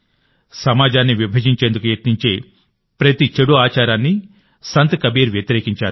సమాజాన్ని విభజించేందుకు యత్నించే ప్రతి చెడు ఆచారాన్ని సంత్ కబీర్ వ్యతిరేకించారు